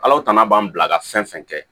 Alahu tana b'an bila ka fɛn fɛn kɛ